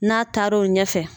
N'a taar'o ɲɛfɛ